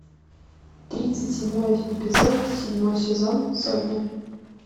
тридцать седьмой эпизод седьмой сезон сотня